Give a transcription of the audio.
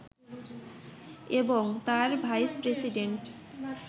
এবং তার ভাইস-প্রেসিডেন্ট